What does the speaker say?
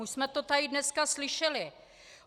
Už jsme to tady dneska slyšeli.